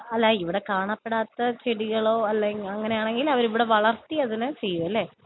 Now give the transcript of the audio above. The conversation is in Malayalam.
അല്ല ഇവിടെ കാണപ്പെടാത്ത ചെടികളോ അല്ലെങ്കി അങ്ങനെയാണെങ്കിൽ അവരിവിടെ വളർത്തി അതിനെ ചെയ്യുമല്ലേ?